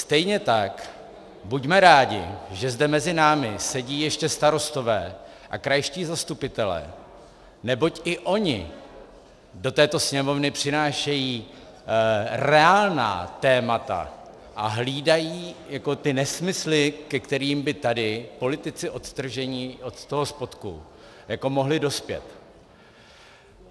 Stejně tak buďme rádi, že zde mezi námi sedí ještě starostové a krajští zastupitelé, neboť i oni do této Sněmovny přinášejí reálná témata a hlídají ty nesmysly, ke kterým by tady politici odtržení od toho spodku mohli dospět.